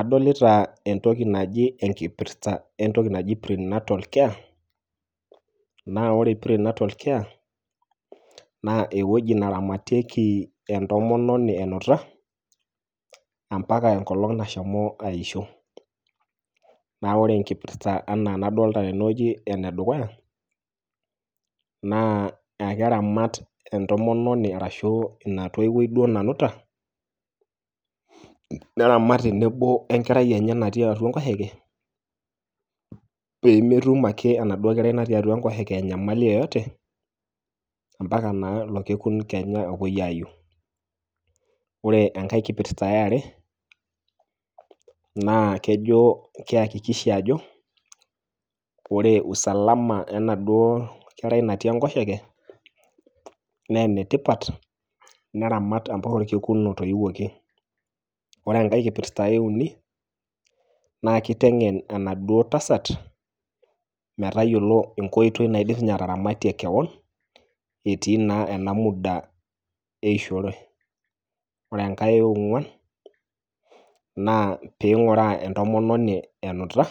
Adolita entoki naji enkipirta entoki naji prenatal care . Naa ore pre natal care naa ewueji neramatieki entomononi enuta ampaka enkolong nashomo aisho. Naa ore enkipirta enaa enadolta tene wueji ene dukuya naa ekeramat entomononi ashuaa ina toiwuoi duoo nanuta , neramat tenebo we enkerai enye natii atua enkoshoke pemetum ake enaduoo kerai natii atua enkoshoke enyamali yeyote ompaka naa orekekun kenya opuoi aiu. Ore enkae kipirta eare naa kejo keyakikisha ajo ,ore usalama enaduoo kerai natii enkoshoke naa ene tipat , neramat ompaka orkekun otoiwuoki . Ore enkae kipirta euni naa kitengen enaduoo tasat metayiolo enkoitoi naidim sininye ataramatie kewon etii naa ena muda eishore . Ore enkae eongwan naa pinguraa entomononi enuta